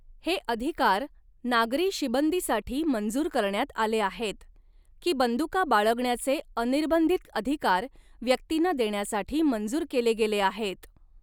हे अधिकार नागरी शिबंदीसाठी मंजूर करण्यात आले आहेत, की बंदुका बाळगण्याचे अनिर्बंधित अधिकार व्यक्तींना देण्यासाठी मंजूर केले गेले आहेत?